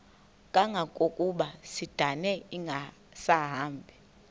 kangangokuba isindane ingasahambi